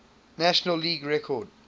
major league record